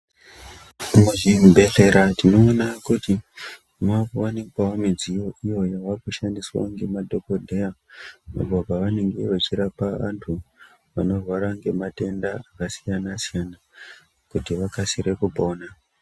Muzvi bhedhlera tino ona kuti makuwanikwawo midziyo iyo yava kushandiswa ngema dhokoteya apo pavenge vachi rapa vandu vanorwara ngema tenda aka siyana siyana kuti vakasire kupona .